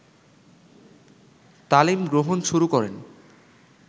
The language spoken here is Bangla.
তালিম গ্রহণ শুরু করেন